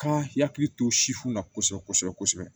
Kan hakili to sifinna kosɛbɛ kosɛbɛ